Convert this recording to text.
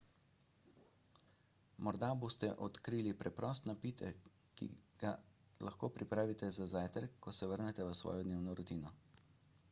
morda boste odkrili preprost napitek ki si ga lahko pripravite za zajtrk ko se vrnete v svojo dnevno rutino